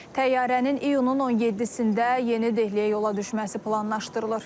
Təyyarənin iyunun 17-də Yeni Dehliyə yola düşməsi planlaşdırılır.